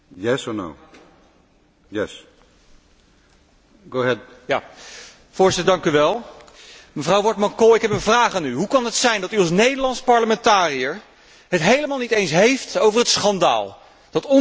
Voorzitter, mevrouw Wortmann Kool, ik heb een vraag aan u hoe kan het zijn dat u als Nederlands parlementariër het niet eens heeft over het schandaal dat onze Nederlandse minister van Financiën niet was uitgenodigd voor dat topoverleg afgelopen week.